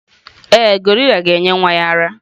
Ee, gorilla ga-enye nwa ya ara.